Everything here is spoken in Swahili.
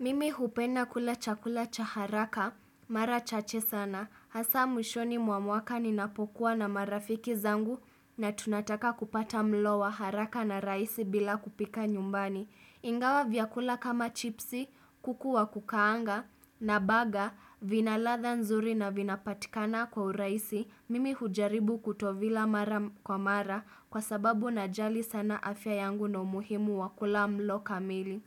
Mimi hupena kula chakula cha haraka, mara chache sana, hasa mwishoni mwa mwaka ni napokuwa na marafiki zangu na tunataka kupata mlo wa haraka na raisi bila kupika nyumbani. Ingawa vyakula kama chipsi, kuku wa kukaanga, na baga, vinaladha nzuri na vinapatikana kwa uraisi, mimi hujaribu kutovila mara kwa mara kwa sababu na jali sana afya yangu na umuhimu wakula mlo kamili.